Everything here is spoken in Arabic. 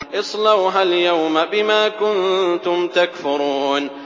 اصْلَوْهَا الْيَوْمَ بِمَا كُنتُمْ تَكْفُرُونَ